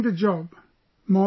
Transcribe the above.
Everyone is leaving the job